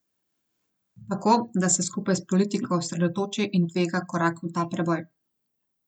Tako, da se skupaj s politiko osredotoči in tvega korak v ta preboj.